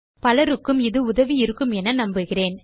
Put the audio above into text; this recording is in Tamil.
பலருக்கும் இது உதவி இருக்குமென நம்புகிறேன்